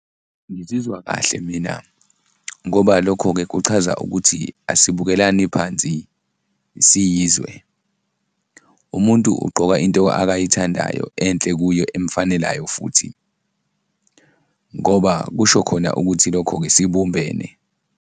Ngizizwa kahle mina ngoba lokho-ke kuchaza ukuthi asibukelani phansi siyizwe, umuntu ugqoka into akayithandayo enhle kuye emfanelayo futhi ngoba kusho khona ukuthi lokho-ke sibumbene.